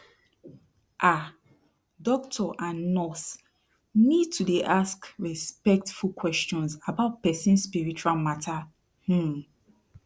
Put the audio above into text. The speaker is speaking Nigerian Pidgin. ah doctor and nurse need to dey ask respectful questions about person spiritual mata um